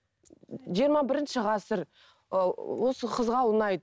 жиырма бірінші ғасыр ыыы осы қызға ұнайды